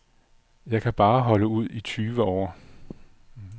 Jeg bare holde ud i tyve år.